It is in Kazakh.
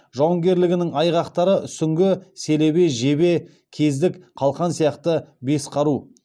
жауынгерлігінің айғақтары сүңгі селебе жебе кездік қалқан сияқты бес қару